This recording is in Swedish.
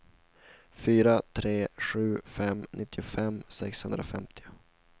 fyra tre sju fem nittiofem sexhundrafemtio